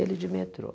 Ele de metrô.